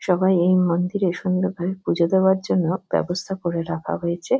সবাই এই মন্দিরে সুন্দর ভাবে পুজো দেওয়ার জন্য ব্যবস্থা করে রাখা হয়েছে।